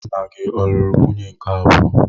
Nna gị ọ̀ lụrụ nwunye nke abụọ?